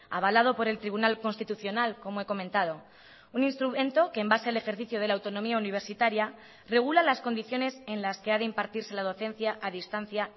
avalado por el tribunal constitucional como he comentado un instrumento que en base al ejercicio de la autonomía universitaria regula las condiciones en las que ha de impartirse la docencia a distancia